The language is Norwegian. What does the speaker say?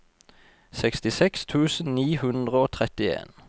sekstiseks tusen ni hundre og trettien